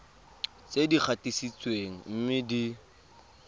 tse di gatisitsweng mme di